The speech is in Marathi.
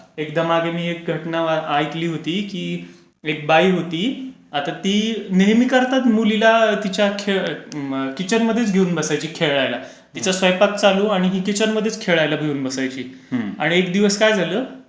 एकदा मागे मी एक घटना ऐकली होती, की एक बाई होती आता ती नेहमी करता तिच्या मुलीला खेळयला किचनमध्येच घेऊन बसायची खेळायला. तिचा स्वयंपाक चालू आणि ही किचनमध्येच खेळायला घेऊन बसायची. आणि एक दिवस काय झालं?